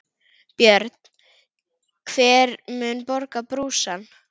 Björn: Hver mun borga brúsann?